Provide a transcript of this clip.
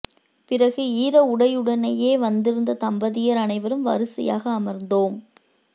பிறகு ஈர உடையுடனேயே வந்திருந்த தம்பதியர் அனைவரும் வரிசையாக அமர்ந்தோம்